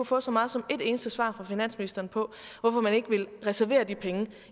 få så meget som et eneste svar fra finansministeren på hvorfor man ikke vil reservere de penge